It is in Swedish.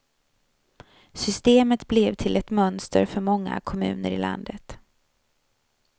Systemet blev till ett mönster för många kommuner i landet.